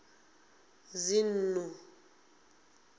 dzinnḓu